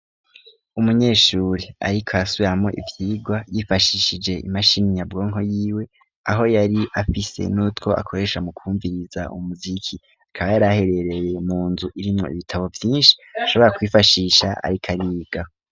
Umunyeshuri ariko asuramwo ibyigwa yifashishije imashini nyabwonko y'iwe aho yari afise n'utwo akoresha mu kumviriza umuziki akaba yari aherereye mu nzu irimwa ibitabo byinshi ashobora kwifashisha ariko ariga.